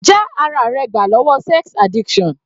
Já ara rẹ gbà lọ́wọ́ sex addiction.